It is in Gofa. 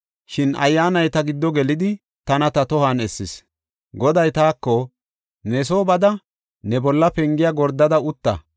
Shin Ayyaanay ta giddo gelidi, tana ta tohaan essis. Goday taako, “Ne soo bada, ne bolla pengiya gordada utta.